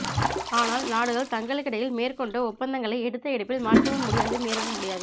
ஆனால் நாடுகள் தங்களுக்கிடையில் மேற்கொண்ட ஒப்பந்தங்களை எடுத்த எடுப்பில் மாற்றவும் முடியாது மீறவும் முடியாது